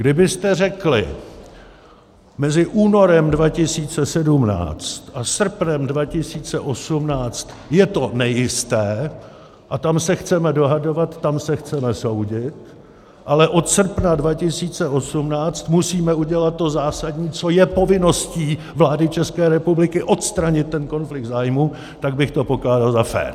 Kdybyste řekli mezi únorem 2017 a srpnem 2018, je to nejisté a tam se chceme dohadovat, tam se chceme soudit, ale od srpna 2018 musíme udělat to zásadní, co je povinností vlády České republiky - odstranit ten konflikt zájmů, tak bych to pokládal za fér.